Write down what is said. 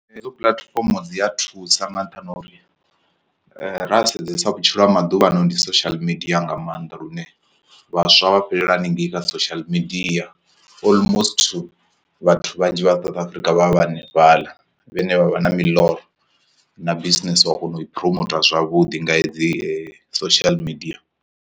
Hedzo puḽatifomo dzi a thusa nga nṱhani ha uri ra sedza vhutshilo ha maḓuvha ano ndi social media nga maanḓa lune vhaswa vha fhelela haningei kha social media almost vhathu vhanzhi vha South Africa vha hanefhaḽa vhe ne vha vha na miḽoro na business wa kona u i phuromota zwavhuḓi nga hedzi social media.